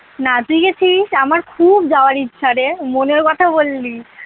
না তুই গেছিস? আমার খুব যাওয়ার ইচ্ছা রে মনের কথা বললি।